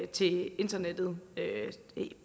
til internettet